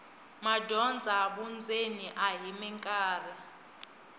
madyondza vundzeni a hi mikarhi